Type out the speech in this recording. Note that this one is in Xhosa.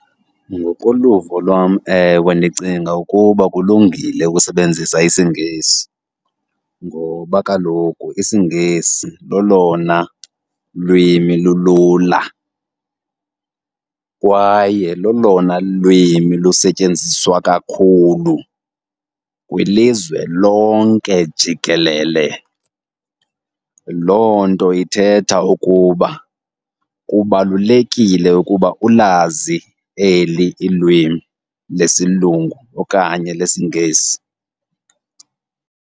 Ngokoluvo lwam, ewe, ndicinga ukuba kulungile ukusebenzisa isiNgesi ngoba kaloku isiNgesi lolona lwimi lulula kwaye lolona lwimi lisetyenziswa kakhulu kwilizwe lonke jikelele. Loo nto ithetha ukuba kubalulekile ukuba ulazi eli ilwimi lesilungu okanye lesiNgesi.